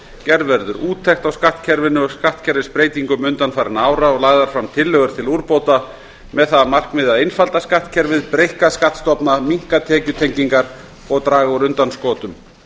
gerð verður úttekt á skattkerfinu og skattkerfisbreytingum undanfarinna ára og lagðar fram tillögur til úrbóta með það að markmiði að einfalda skattkerfið breikka skattstofna minnka tekjutengingar og draga úr undanskotum